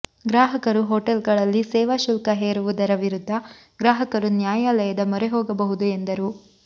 ಗ್ರಾಹಕರು ಹೊಟೇಲ್ಗಳಲ್ಲಿ ಸೇವಾ ಶುಲ್ಕ ಹೇರುವುದರ ವಿರುದ್ಧ ಗ್ರಾಹಕರು ನ್ಯಾಯಾಲಯದ ಮೊರೆ ಹೋಗಬಹುದು ಎಂದರು